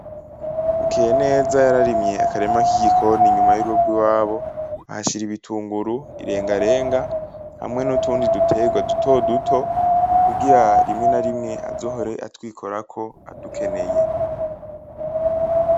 Bukeyeneza yararimye akarima k’igikoni inyuma y’urugo rwiwabo ahashira ibitunguru, irengarenga hamwe n’utundi duterwa duto duto , kugira rimwe ba rimwe azohore atwikorako adukeneye.